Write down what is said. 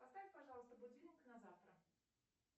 поставь пожалуйста будильник на завтра